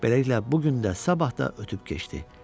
Beləliklə, bu gün də, sabah da ötüb keçdi.